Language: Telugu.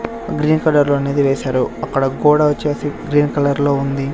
గ్రీన్ కలర్లో అనేది వేశారు అక్కడ గోడ వచ్చేసి గ్రీన్ కలర్లో ఉంది.